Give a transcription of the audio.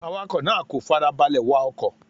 Awakọ̀ náà kò farabalẹ̀ wa ọkọ̀.